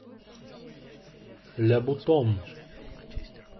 ля бутон